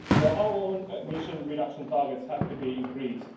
Our own emission reduction targets have to be increased